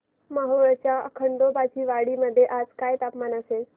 मोहोळच्या खंडोबाची वाडी मध्ये आज काय तापमान असेल